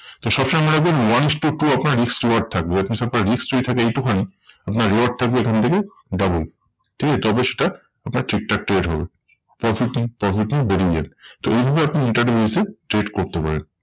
তো সবসময় মনে রাখবেন one is to two আপনার risk reward থাকবে। আপনার risk যদি থাকে এইটুখানি আপনার reward থাকবে এখন থেকে double. ঠিক আছে তবে সেটা আপনার ঠিকঠাক trade হবে। profit profit নিয়ে বেরিয়ে যান। তো এইভাবে আপনি intraday basis এ trade করতে পারেন।